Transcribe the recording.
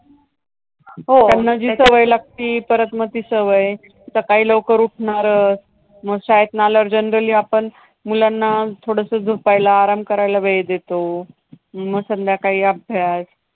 त्यांना हो जी सवय लागती, परत मग ती सवय. सकाळी लवकर उठणारंच, मग शाळेतनं आल्यावर generally आपण मुलांना थोडंसं झोपायला, आराम करायला वेळ देतो. मग संध्याकाळी अभ्यास